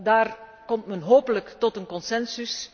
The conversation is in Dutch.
Daar komt men hopelijk tot een concensus.